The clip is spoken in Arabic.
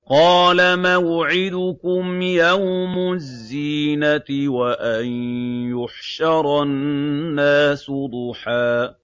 قَالَ مَوْعِدُكُمْ يَوْمُ الزِّينَةِ وَأَن يُحْشَرَ النَّاسُ ضُحًى